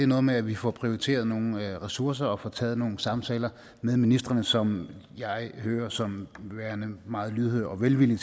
noget med at vi får prioriteret nogle ressourcer og får taget nogle samtaler med ministrene som jeg hører som værende meget lydhøre og velvillige